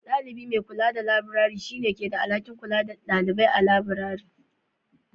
Ɗalibi mai kula da labirari, shi ne ke da alhakin kula da ɗalibai a cikin labirari.